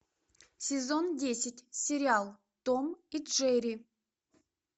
сезон десять сериал том и джерри